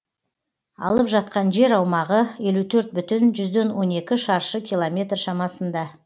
алып жатқан жер аумағы елу төрт бүтін жүзден он екі шаршы километр шамасында